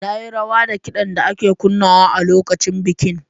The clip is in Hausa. Na yi rawa da kidan da ake kunnawa a lokacin bikin.